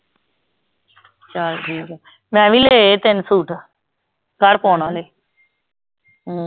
ਚੱਲ ਠੀਕ ਆ, ਮੈਂ ਵੀ ਲਏ ਤਿੰਨ ਸੂਟ ਘਰ ਪਾਉਣ ਵਾਲੇ ਹਮ